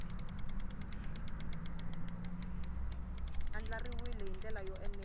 andlariwile hi ndlela yo enela